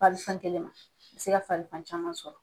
kɛlen don. A be se ka farigan caman sɔrɔ.